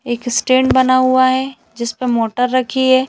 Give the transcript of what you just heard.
एक स्टैंड बना हुआ है जिस पे मोटर रखी है।